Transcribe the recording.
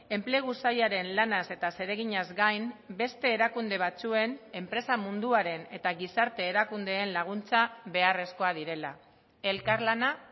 enplegu sailaren lanaz eta zereginaz gain beste erakunde batzuen enpresa munduaren eta gizarte erakundeen laguntza beharrezkoak direla elkarlana